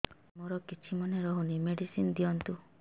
ସାର ମୋର କିଛି ମନେ ରହୁନି ମେଡିସିନ ଦିଅନ୍ତୁ